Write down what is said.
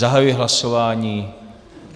Zahajuji hlasování.